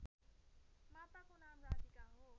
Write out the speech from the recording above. माताको नाम राधिका हो